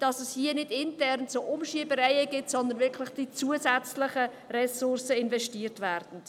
Es soll nicht intern zu Umschiebereien kommen, sondern die zusätzlichen Ressourcen sollen investiert werden.